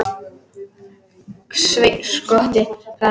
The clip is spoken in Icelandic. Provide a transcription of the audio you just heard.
Sveinn skotti, svaraði hann.